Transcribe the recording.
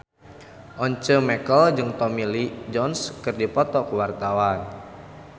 Once Mekel jeung Tommy Lee Jones keur dipoto ku wartawan